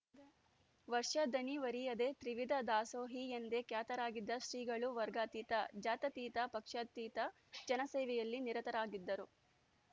ವರ್ಷ ದಣಿವರಿಯದೇ ತ್ರಿವಿಧ ದಾಸೋಹಿ ಎಂದೇ ಖ್ಯಾತರಾಗಿದ್ದ ಶ್ರೀಗಳು ವರ್ಗಾತೀತ ಜಾತ್ಯಾತೀತ ಪಕ್ಷಾತೀತ ಜನಸೇವೆಯಲ್ಲಿ ನಿರತರಾಗಿದ್ದರು